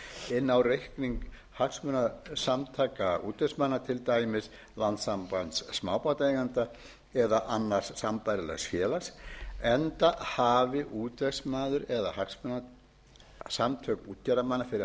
inn á reikning hagsmunasamtaka útvegsmanna til dæmis landssambands smábátaeigenda eða annars sambærilegs félags enda hafi útvegsmaður eða hagsmunasamtök útgerðarmanna fyrir